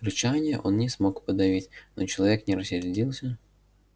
рычания он не смог подавить но человек не рассердился